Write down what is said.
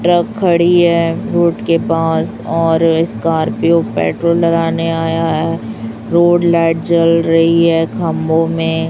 truck खड़ी है road के पास और स्कॉर्पियो पेट्रोल डलाने आया है रोड लाइट जल रही है खंभो में --